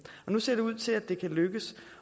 nu ser det ud til at det kan lykkes